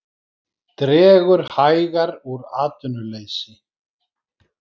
Dregur hægar úr atvinnuleysi